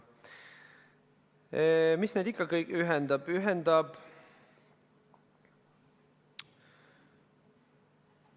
Mis neid kõiki ikka ühendab?